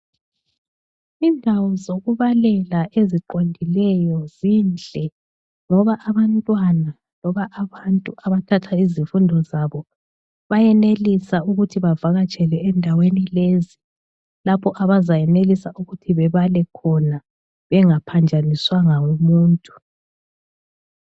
Indawo zokubalela eziqondileyo zinhle ngoba abantwana loba abantu abathatha izifundo zabo bayenelisa ukuthi bavakatshele endaweni lezi lapho abazayenelisa ukuthi bebale khona bengaphanjaniswanga ngumuntu.